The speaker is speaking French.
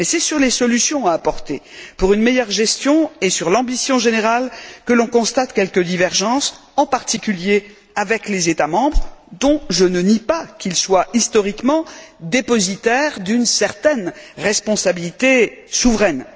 Mais c'est sur les solutions à apporter pour une meilleure gestion et sur l'ambition générale que l'on constate quelques divergences, en particulier avec les États membres, dont je ne nie pas qu'ils soient historiquement dépositaires d'une certaine responsabilité souveraine.